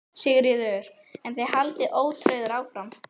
Sigríður: En þið haldið ótrauðir áfram?